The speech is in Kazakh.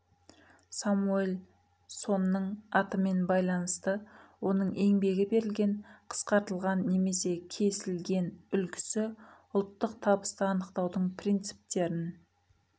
самуэль сонның атымен байланысты оның еңбегі берілген қысқартылған немесе кесілген үлгісі ұлттық табысты анықтаудың принциптерін